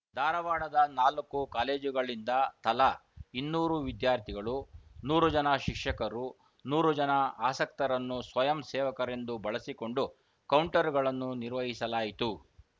ಧಾರವಾಡದ ನಾಲ್ಕು ಕಾಲೇಜುಗಳಿಂದ ತಲಾ ಇನ್ನೂರು ವಿದ್ಯಾರ್ಥಿಗಳು ನೂರು ಜನ ಶಿಕ್ಷಕರು ನೂರು ಜನ ಆಸಕ್ತರನ್ನು ಸ್ವಯಂ ಸೇವಕರೆಂದು ಬಳಸಿಕೊಂಡು ಕೌಂಟರ್‌ಗಳನ್ನು ನಿರ್ವಹಿಸಲಾಯಿತು